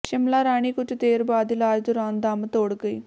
ਸ਼ਿਮਲਾ ਰਾਣੀ ਕੁਝ ਦੇਰ ਬਾਅਦ ਇਲਾਜ ਦੌਰਾਨ ਦਮ ਤੋੜ ਗਈ